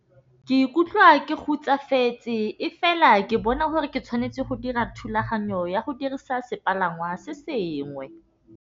Ke ikutlwa ke e fela ke bona gore ke tshwanetse go dira thulaganyo ya go dirisa sepalangwa se sengwe.